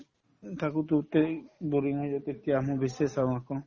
থাকো তেতিয়া আহো বেছিয়ে চাওঁ আকৌ